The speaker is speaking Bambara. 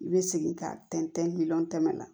I bɛ segin k'a tɛntɛn ni miliyɔn tɛmɛ na